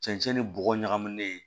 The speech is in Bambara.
Cɛncɛn ni bɔgɔ ɲagaminen ye